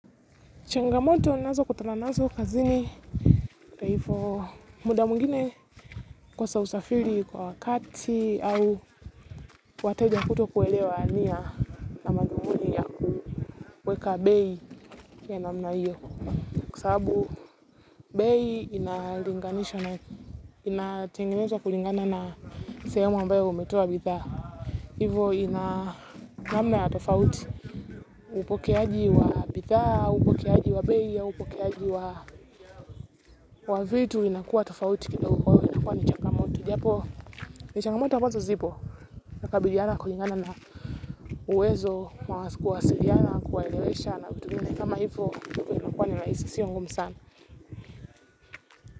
Changamoto ninazokutana nazo kazini. Kwa hivyo muda mwingine kukosa usafiri kwa wakati au wateja kutokuelewa nia na madhumuni ya kuweka bei ya namna hiyo. Kwa sababu bei inalinganishwa na inatengemezwa kulingana na sehemu ambayo umetoa bidhaa. Hivyo ina namna ya tofauti. Upokeaji wa bidhaa, upokeaji wa bei au upokeaji wa vitu vinakuwa tofauti kidogi kwa hivyo inakuwa ni changamoto. Japo, ni changamoto ambazo zipo, nakabiliana kulingana na uwezo, wa kuwasiliana, kuwaelelesha na vitu vingine. Kama hivyo, vinakuwa ni rahisi, siyo ngumu sana.